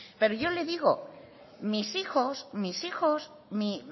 pero yo le digo mis hijos mis hijos mi